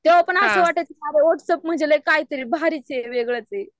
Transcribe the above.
तो पण असं की सारे वॉट्सप म्हणजे लई काय तरी भारीच ये वेगळं